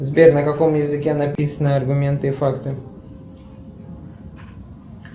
сбер на каком языке написано аргументы и факты